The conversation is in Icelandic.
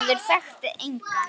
Maður þekkti engan.